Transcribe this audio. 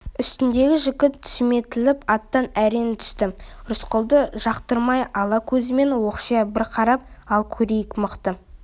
үстіндегі жігіт сүметіліп аттан әрең түсті рысқұлды жақтырмай ала көзімен оқшия бір қарап ал көрейік мықты